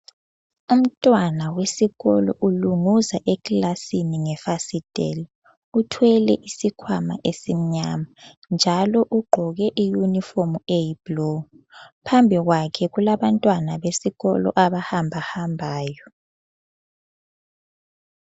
Umntwana wesikolo ulunguza ekilasini ngefasiteli. Uthwele isikhwama esimnyama njalo ugqoke iyunifomu eyibhulu. Phambikwakhe kulabantwana besikolo abahambahambayo.